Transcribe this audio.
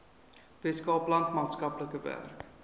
weskaapland maatskaplike werk